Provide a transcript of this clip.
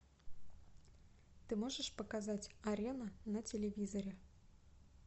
ты можешь показать арена на телевизоре